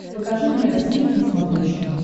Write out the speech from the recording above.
покажи мне россия к на смотрешке